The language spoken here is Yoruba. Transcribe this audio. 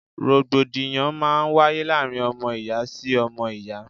Rògbòdìyàn máa ń wáyé láàárín ọmọ ìyá sí ọmọ ìyá.